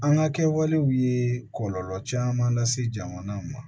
An ka kɛwalew ye kɔlɔlɔ caman lase jamana ma